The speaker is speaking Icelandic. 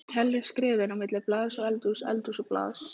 Telja skrefin á milli baðs og eldhúss, eldhúss og baðs.